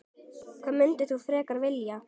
Hvað myndir þú frekar vilja?